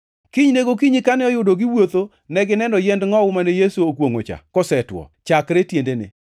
Kinyne gokinyi kane oyudo giwuotho negineno yiend ngʼowu mane Yesu okwongʼo cha kosetwo, chakre tiendene.